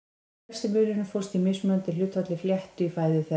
Helsti munurinn fólst í mismunandi hlutfalli flétta í fæðu þeirra.